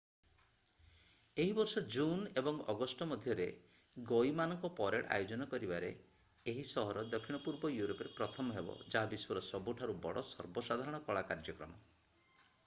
ଏହି ବର୍ଷ ଜୁନ୍ ଏବଂ ଅଗଷ୍ଟ ମଧ୍ୟରେ ଗଈ ମାନଙ୍କ ପରେଡ୍ ଆୟୋଜନ କରିବାରେ ଏହି ସହର ଦକ୍ଷିଣ-ପୂର୍ବ ୟୁରୋପରେ ପ୍ରଥମ ହେବ ଯାହା ବିଶ୍ୱର ସବୁଠାରୁ ବଡ଼ ସର୍ବସାଧାରଣ କଳା କାର୍ଯ୍ୟକ୍ରମ